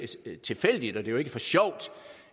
tilfældigt og det er jo ikke for sjov